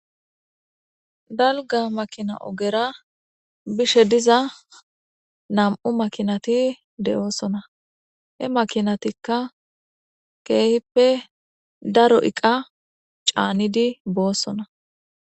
dalga makina ogera bishe diza nam7u makinati de7oosona he makinatikka keehippe daro iqa caanidi boossonna